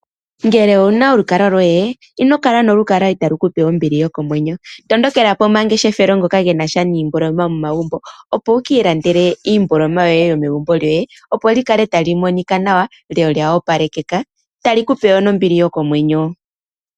Ngele owu na olukalwa lwoye ino kala no lukalwa i talu kupe ombili yokomwenyo , tondokela po mangeshefelo ngoka gena sha niimboloma yomomagumbo opo wu kiilandele iimboloma yoye yo megumbo lyoye po li kale tali monika nawa lyo olya palekeka tali lupe wo nombili yokomwenyo.